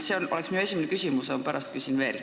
See on minu esimene küsimus, pärast küsin veel.